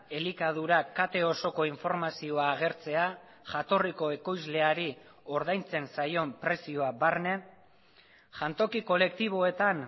elikadura kate osoko informazioa agertzea jatorriko ekoizleari ordaintzen zaion prezioa barne jantoki kolektiboetan